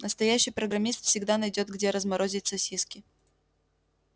настоящий программист всегда найдёт где разморозить сосиски